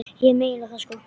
Ég meina það sko.